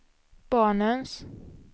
barnens